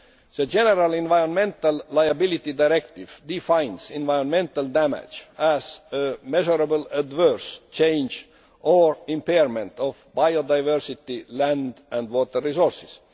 The general Environmental Liability Directive defines environmental damage as a measurable adverse change' or impairment' of biodiversity, land and water resources.